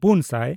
ᱯᱩᱱᱼᱥᱟᱭ